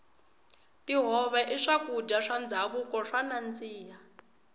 tihove i swakudya swa ndhavuko swo nandzika